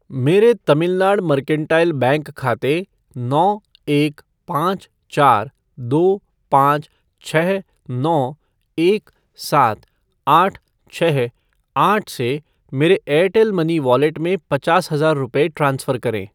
मेरे Tamilnad Mercantile Bank खाते नौ एक पाँच चार दो पाँच छः नौ एक सात आठ छः आठ से मेरे एयरटेल मनी वॉलेट में पचास हज़ार रुपये ट्रांसफ़र करें